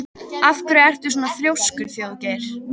Af hverju ertu svona þrjóskur, Þjóðgeir?